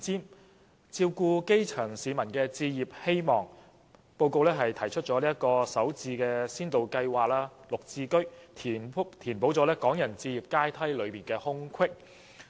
為了照顧基層市民的置業希望，施政報告提出首置先導計劃和"綠表置居計劃"，以填補港人置業階梯的空隙。